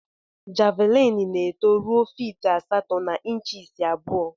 Javlin na eto rue fit asatọ na inchis abụọ.